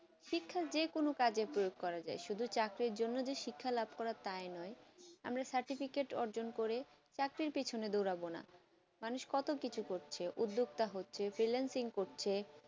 শিক্ষা যে কোনো কাজে প্রয়োগ করা যায় শুধু চাকরি জন্য শিক্ষা লাভ করা তাই নয় আমরা certificate অজন করে চাকরি পেছনে দোড়াবোনা মানুষ কত কিছু করছে উদ্বর্দ্দা করছে freelancing করছে